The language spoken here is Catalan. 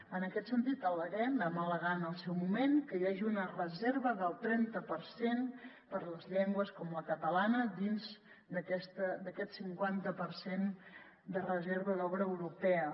en aquest sentit al·leguem ho vam al·legar en el seu moment que hi hagi una reserva del trenta per cent per a les llengües com la catalana dins d’aquest cinquanta per cent de reserva d’obra europea